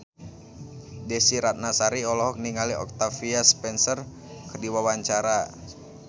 Desy Ratnasari olohok ningali Octavia Spencer keur diwawancara